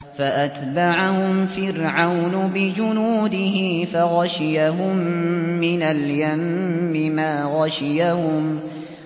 فَأَتْبَعَهُمْ فِرْعَوْنُ بِجُنُودِهِ فَغَشِيَهُم مِّنَ الْيَمِّ مَا غَشِيَهُمْ